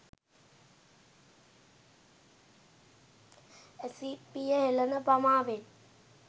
ඇසි පිය හෙළන පමාවෙන්